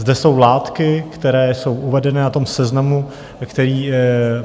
Zde jsou látky, které jsou uvedené na tom seznamu, který...